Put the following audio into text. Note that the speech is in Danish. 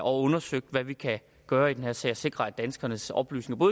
og undersøgt hvad vi kan gøre i den her sag og sikret at danskernes oplysninger